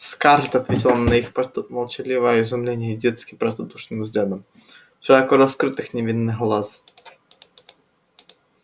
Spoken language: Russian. скарлетт ответила на их молчаливое изумление детски простодушным взглядом широко раскрытых невинных глаз